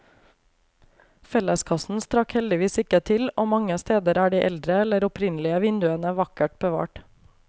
Felleskassen strakk heldigvis ikke til, og mange steder er de eldre eller opprinnelige vinduene vakkert bevart.